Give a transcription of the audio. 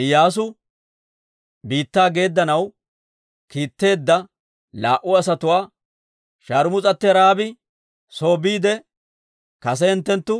Iyyaasu biittaa geeddanaw kiitetteedda laa"u asatuwaa, «Sharmus'atti Ra'aabi soo biide kase hinttenttu